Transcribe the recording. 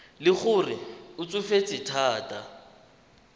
le gore o tsofetse thata